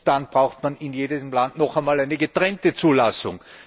Dann braucht man in jedem Land noch einmal eine getrennte Zulassung.